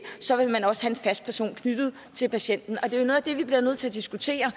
vil man også have en fast person knyttet til patienten og det er noget af det vi bliver nødt til at diskutere